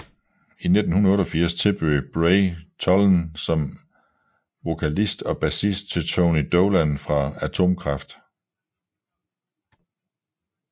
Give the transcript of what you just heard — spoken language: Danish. I 1988 tilbød Bray tollen som vokalist og bassist til Tony Dolan fra Atomkraft